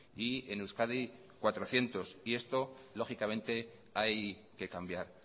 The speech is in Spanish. y en euskadi cuatrocientos y esto lógicamente hay que cambiar